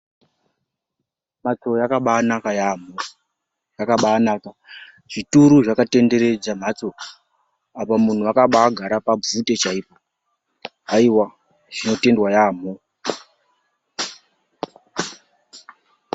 Mhatso yakabaanaka yaambo, yakabaanaka. Zvituru zvakatenderedza mhatso. Apa muntu wakabaagara pabvute chaipo. Haiwa, zvinotendwa yaamho.